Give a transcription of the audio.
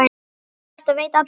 Og þetta veit allur bærinn?